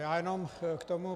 Já jenom k tomu...